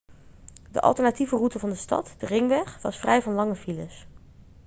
de alternatieve route van de stad de ringweg was vrij van lange files